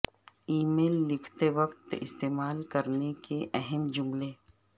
ای میل لکھتے وقت استعمال کرنے کے لئے اہم جملے